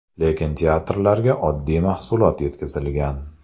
Lekin teatrlarga oddiy mahsulot yetkazilgan.